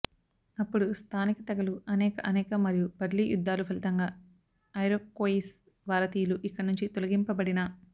అప్పుడు స్థానిక తెగలు అనేక అనేక మరియు బ్లడీ యుద్ధాలు ఫలితంగా ఐరోక్వోయిస్ భారతీయులు ఇక్కడ నుంచి తొలగింపబడిన